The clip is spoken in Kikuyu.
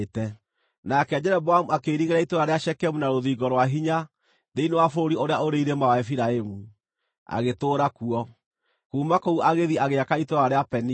Nake Jeroboamu akĩirigĩra itũũra rĩa Shekemu na rũthingo rwa hinya thĩinĩ wa bũrũri ũrĩa ũrĩ irĩma wa Efiraimu, agĩtũũra kuo. Kuuma kũu agĩthiĩ agĩaka itũũra rĩa Penieli.